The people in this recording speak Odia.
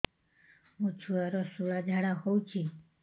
ମୋ ଛୁଆର ସୁଳା ଝାଡ଼ା ହଉଚି